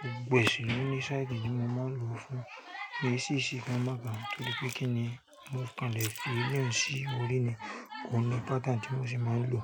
gbogbo ẹ̀ sì ló ní style tí mo máa ń lò fún. Mi sì sì gan mo baun torípé kí ni mo kanle fi eléyìí sí orí ni kò ní pattern tí mo ṣe máa ń lò.